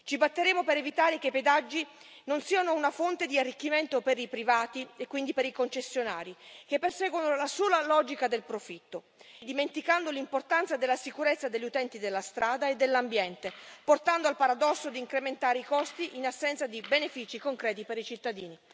Ci batteremo per evitare che i pedaggi siano una fonte di arricchimento per i privati, e quindi per i concessionari, che perseguono la sola logica del profitto, dimenticando l'importanza della sicurezza degli utenti della strada e dell'ambiente, portando al paradosso di incrementare i costi in assenza di benefici concreti per i cittadini.